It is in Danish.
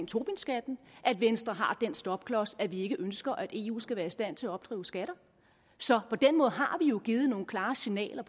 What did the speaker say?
tobinskatten at venstre har den stopklods at vi ikke ønsker at eu skal være i stand til at opkræve skatter så på den måde har jo givet nogle klare signaler